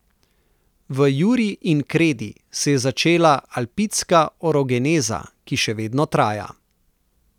V juri in kredi se je začela alpidska orogeneza, ki še vedno traja.